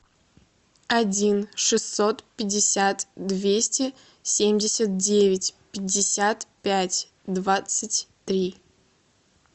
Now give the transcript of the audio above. один шестьсот пятьдесят двести семьдесят девять пятьдесят пять двадцать три